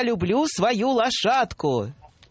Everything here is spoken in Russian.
люблю свою лошадку